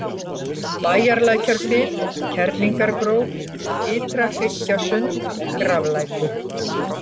Bæjarlækjarfit, Kerlingargróf, Ytra-Hryggjasund, Graflækur